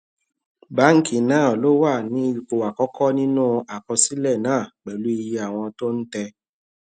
báńkì náà ló wà ní ipò àkọkọ nínú àkọsílẹ náà pẹlú iye àwọn tó ń tẹ